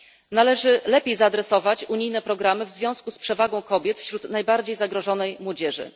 Należy lepiej zaadresować unijne programy w związku z przewagą kobiet wśród najbardziej zagrożonej młodzieży.